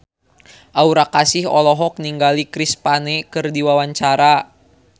Aura Kasih olohok ningali Chris Pane keur diwawancara